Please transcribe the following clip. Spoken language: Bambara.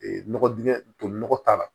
Ee nɔgɔ dingɛ tolilen nɔgɔ k'a la